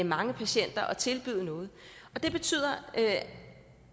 mange patienter at tilbyde noget det betyder at